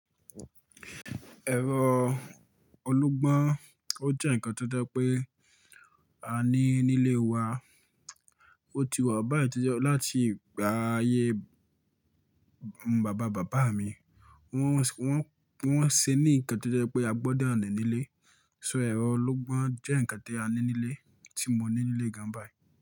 Ẹ̀rọ ológbọ́n, ó jẹ́ nǹkan tó jẹ́ pé a ní nílé wa. Ó ti wà báyìí tí jẹ́ láti ayé bàbá bàbá mi. Wọ́n, wọ́n, wọ́n ṣe ní nǹkan tó jẹ́ pé a gbọ́dọ̀ ní nílé. So ẹ̀rọ ológbọ́n jẹ́ nǹkan tí a ní nílé tí mo ní nílé gan báyiì.